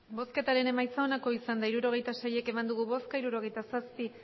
hirurogeita sei eman dugu bozka hirurogeita zazpi